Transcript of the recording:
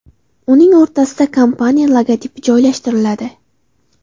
Uning o‘rtasida kompaniya logotipi joylashtiriladi.